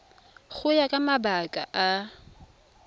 go ya ka mabaka a